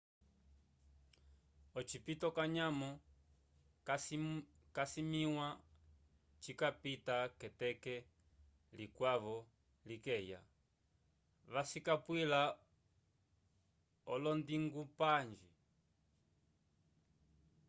ocipito canyamo casimĩwa cikapita k'eteke likwavo likeya vacisapwila olondingupange